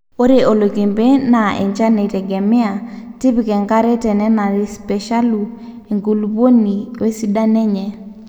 ore oloikembe naa enchan eitegemea, tipika enkare tenenarepeeshalu enkulupuoni wesidano enye